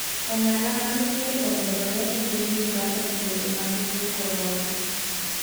Ong'ala mar dhier omedore e piny Uganda diere mag tuo Korona.